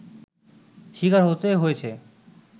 শিকার হতে হয়েছে